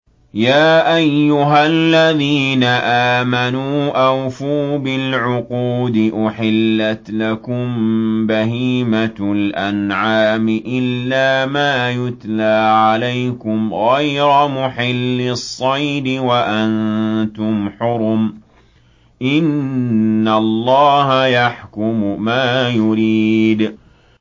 يَا أَيُّهَا الَّذِينَ آمَنُوا أَوْفُوا بِالْعُقُودِ ۚ أُحِلَّتْ لَكُم بَهِيمَةُ الْأَنْعَامِ إِلَّا مَا يُتْلَىٰ عَلَيْكُمْ غَيْرَ مُحِلِّي الصَّيْدِ وَأَنتُمْ حُرُمٌ ۗ إِنَّ اللَّهَ يَحْكُمُ مَا يُرِيدُ